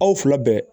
Aw fila bɛɛ